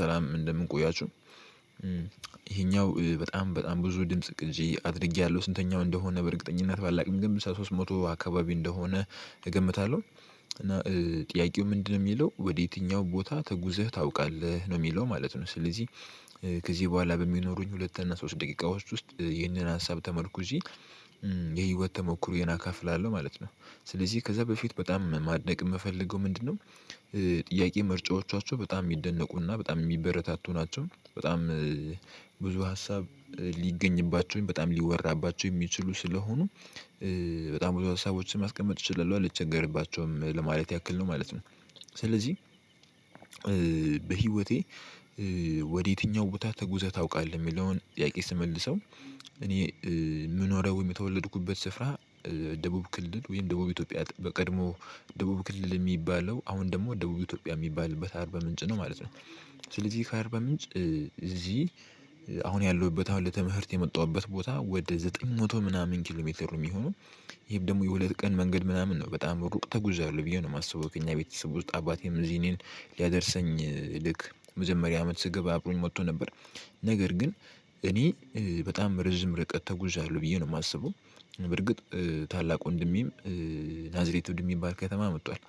ሰላም እንደምን ቆያችህ ይሄኛው በጣም በጣም ብዙ ድምጽ ቅጂ አድርጌያለሁ ስንተኛው እንደሆነ በእርግጠኝነት ባላውቅም ግን ሶስት መቶ አካባቢ እንደሆነ እገምታለሁ። እና ጥያቄው ምንድነው የሚለው ወዴትኛው ቦታ ተጉዘህ ታውቃለህ ነው የሚለው ማለት ነው። ስለዚህ ከዚህ በኋላ በሚኖሩኝ ሁለት እና ሶስት ደቂቃ ውስጥ ይህንን ሀሳብ ተመርኩዤ የህይወት ተሞክሮዬን እካፍላለሁ ማለት ነው። ስለዚህ ከዛ በፊት በጣም ማድነቅ የምፈልገው ምንድነው? ጥያቄ ምርጫዎቻቸው በጣም የሚደነቁ እና በጣም የሚበረታቱ ናቸው። በጣም ብዙ ሀሳብ ሊገኝባቸው በጣም ሊወራባቸው የሚችሉ ስለሆኑ በጣም ብዙ ሀሳቦችን ማስቀመጥ እችላለሁ አልቸገርባቸውም ለማለት ያክል ነው ማለት ነው። ስለዚህ በህይወቴ ወዴትኛው ቦታ ተጉዘህ ታውቃለህ? የሚለውን ጥያቄ ስመልሰው እኔ የምኖረው የተወለድኩበት ስፍራ ደቡብ ክልል ወይም ደቡብ ኢትዮጵያ በቀድሞ ደቡብ ክልል የሚባለው አሁን ደግሞ ደቡብ ኢትዮጵያ የሚባልበት አርበ ምንጭ ነው ማለት ነው። ስለዚህ ከአርበ ምንጭ እዚህ አሁን ያለሁበት አሁን ለተምህርት የመጣሁበት ቦታ ወደ ዘጠኝ መቶ ምናምን ኪሎ ሜትር ነው የሚሆነው። ይሄም ደግሞ የሁለት ቀን መንገድ ምናምን ነው በጣም ሩቅ ተጉዣለሁ ነው ብዬ ነው የማስበው። ከኛ ቤተሰብ ውስጥ አባቴም እዚህ እኔን ሊያደርሰኝ መጀመሪያ አመት ስገባ አብሮኝ መጥቶ ነበር። ነገር ግን እኔ በጣም ርዝም ርቀት ተጉዣለሁ ብዬ ነው የማስበው። በርግጥ ታላቅ ወንድሜም ናዝሬት ወንድ ሚባል ከተማ መጥቷል።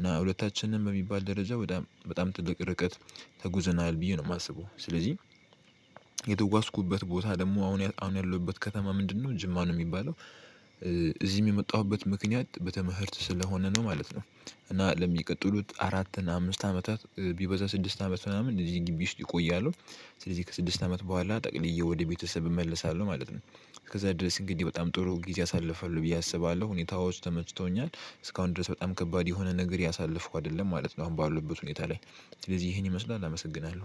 እና ሁለታችንም በሚባል ደረጃ በጣም በጣም ትልቅ ርቀት ተጉዘናል ብዬ ነው የማስበው። ስለዚህ የተጓዝኩበት ቦታ ደግሞ አሁን አሁን ያለሁበት ከተማ ምንድነው ጅማ ነው የሚባለው። እዚህም የመጣሁበት ምክንያት በተምህርት ስለሆነ ነው ማለት ነው። እና ለሚቀጥሉት አራት አምስት አመታት ቢበዛ ስድስት አመት ምናምን እንደዚህ ግቢ ውስጥ እቆያለሁ። ስለዚህ ከስድስት አመት በኋላ ጠቅልዬ ወደ ቤተሰብ እመለሳለሁ ማለት ነው። እስከዛ ድረስ እንግዲህ በጣም ጥሩ ጊዜ አሳልፋለሁ ብዬ አስባለሁ ሁኔታዎች ተመችቶኛል እስካሁን ድረስ በጣም ከባድ የሆነ ነገር ያሳለፍኩ አይደለም ማለት ነው። አሁን ባለውበት ሁኔታ ላይ ስለዚህ ይሄን ይመስላል አመሰግናለሁ